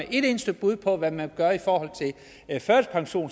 et eneste bud på hvad man gøre i forhold